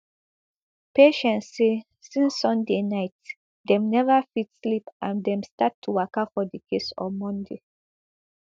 patience say since sunday night dem neva fit sleep and dem start to waka for di case on monday